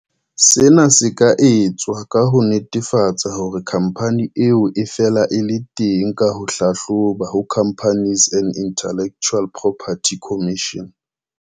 Sena se ka etswa ka ho netefatsa hore khampani eo e fela e le teng ka ho e hlahloba ho Companies and Intellectual Property Commission.